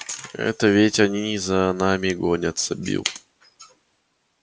это ведь они за нами гонятся билл